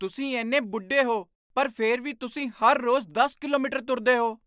ਤੁਸੀਂ ਇੰਨੇ ਬੁੱਢੇ ਹੋ ਪਰ ਫਿਰ ਵੀ, ਤੁਸੀਂ ਹਰ ਰੋਜ਼ ਦਸ ਕਿਲੋਮੀਟਰ ਤੁਰਦੇਹੋ?